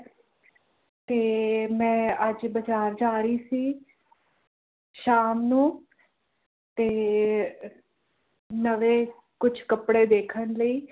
ਤੇ ਮੈਂ ਅੱਜ ਬਾਜ਼ਾਰ ਜਾ ਰਹੀ ਸੀ ਸ਼ਾਮ ਨੂੰ ਤੇ ਨਵੇਂ ਕੁਝ ਕੱਪੜੇ ਦੇਖਣ ਲਈ